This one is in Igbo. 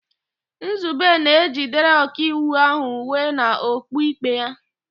Nzube na-ejidere Ọkaikpe ahụ uwe na okpu ikpe ya.